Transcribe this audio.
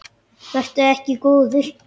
Vertu ekki góður.